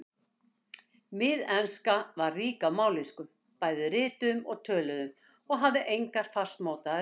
Miðenska var rík af mállýskum, bæði rituðum og töluðum, og hafði engar fastmótaðar ritreglur.